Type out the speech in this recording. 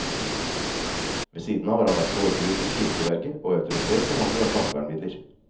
Ved siden av har han vært gårdbruker, kirkeverge og autorisert forhandler av plantevernmidler.